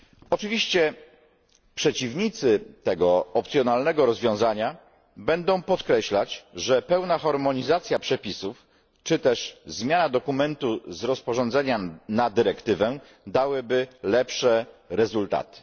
Oczywiście przeciwnicy tego opcjonalnego rozwiązania będą podkreślać, że pełna harmonizacja przepisów czy też zmiana dokumentu z rozporządzenia na dyrektywę dałyby lepsze rezultaty.